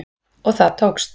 Og það tókst